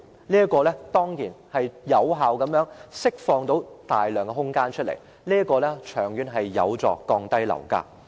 這樣將可有效地釋放大量空間，長遠而言有助降低樓價。